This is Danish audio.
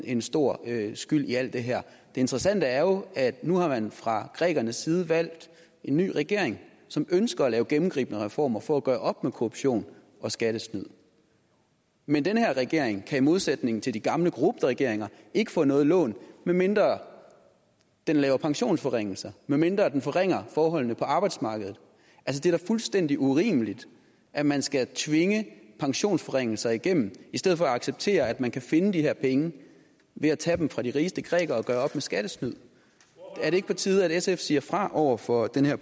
en stor skyld i alt det her det interessante er jo at nu har man fra grækernes side valgt en ny regering som ønsker at lave gennemgribende reformer for at gøre op med korruption og skattesnyd men den her regering kan i modsætning til de gamle korrupte regeringer ikke få noget lån medmindre den laver pensionsforringelser medmindre den forringer forholdene på arbejdsmarkedet det er da fuldstændig urimeligt at man skal tvinge pensionsforringelser igennem i stedet for at acceptere at man kan finde de her penge ved at tage dem fra de rigeste grækere og gøre op med skattesnyd er det ikke på tide at sf siger fra over for den her